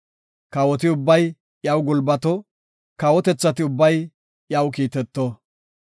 Kawoti ubbay iyaw gulbato; kawotethati ubbay iyaw kiiteto.